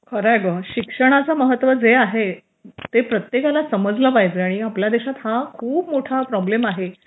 खरंय ग शिक्षणात जे महत्त्व आहे ते प्रत्येकाला समजायला पाहिजे आणि आपल्या देशात हा खूप मोठा प्रॉब्लेम आहे